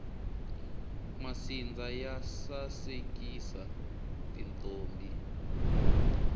masindza ya sasekisa tintombhi